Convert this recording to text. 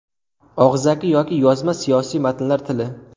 Og‘zaki va yozma siyosiy matnlar tili.